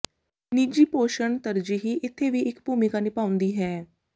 ਨਿੱਜੀ ਪੋਸ਼ਣ ਤਰਜੀਹ ਇੱਥੇ ਵੀ ਇੱਕ ਭੂਮਿਕਾ ਨਿਭਾਉਂਦੀ ਹੈ